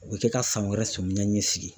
U bɛ kɛ ka san wɛrɛ sɔmiya ɲɛ sigi.